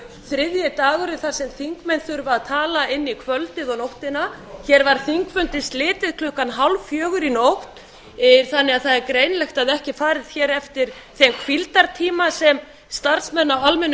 þriðju dagurinn þar sem þingmenn þurfa að tala inn í kvöldið og nóttina hér var þingfundi slitið klukkan hálffjögur í nótt þannig að það er greinilegt að ekki er farið hér eftir þeim hvíldartíma sem starfsmenn á almenna